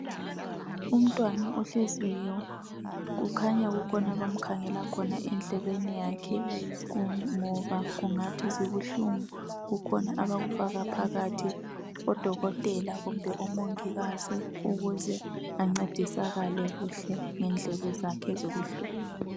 Umntwana ohleziyo, kukhanya kukhona abamkhangela khona endlebeni yakhe ngoba kungathi zibuhlungu. Kukhona abakufaka phakathi odokotela kumbe omongikazi ukuze ancedisakale kuhle ngendlebe zakhe ezibuhlungu.